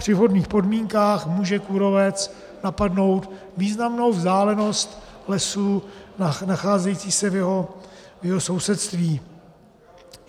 Při vhodných podmínkách může kůrovec napadnout významnou vzdálenost lesů nacházejících se v jeho sousedství.